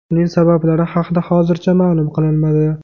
Uning sabablari haqida hozircha ma’lum qilinmadi.